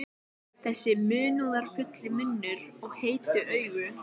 Gegnum grænt rör sýg ég kók.